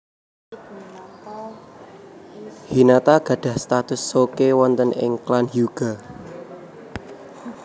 Hinata gadhah status souke wonten ing klan Hyuuga